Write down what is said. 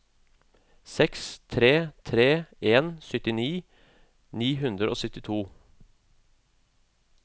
seks tre tre en syttini ni hundre og syttito